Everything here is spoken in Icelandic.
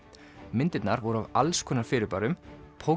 myndirnar voru af alls konar fyrirbærum